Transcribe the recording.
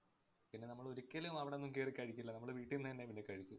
പിന്നെ നമ്മള് ഒരിക്കലും അവടൊന്നും കേറി കഴിക്കില്ല. നമ്മള് വീട്ടിന്ന് തന്നെ പിന്നെ കഴിക്കൂ.